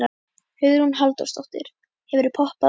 Hugrún Halldórsdóttir: Hefurðu poppað áður?